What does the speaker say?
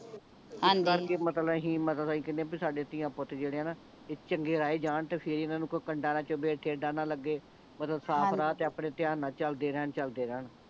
ਹਾਂਜੀ ਇਸ ਕਰਕੇ ਮਤਲਬ ਅਸੀਂ ਮਤਲਬ ਅਸੀਂ ਕਹਿਣੇ ਆ ਸਾਡੇ ਧੀਆਂ ਪੁੱਤ ਜਿਹੜੇ ਆ ਨਾ ਇਹ ਚੰਗੇ ਰਾਹ ਜਾਣ ਤੇ ਫੇਰ ਇਹਨਾਂ ਨੂੰ ਕੋਈ ਕੰਡਾ ਨਾਂ ਚੁੱਭੇ ਠੇਡਾ ਨਾ ਲੱਗੇ ਮਤਲਬ ਹਾਂਜੀ ਸਾਫ ਰਾਹ ਤੇ ਆਪਣੇ ਧਿਆਨ ਨਾਲ ਚੱਲਦੇ ਰਹਿਣ ਚੱਲਦੇ ਰਹਿਣ